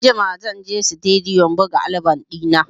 Anjima zan je Situdiyo buga album ɗina.